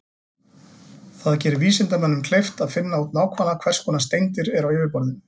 Það gerir vísindamönnum kleift að finna út nákvæmlega hvers konar steindir eru á yfirborðinu.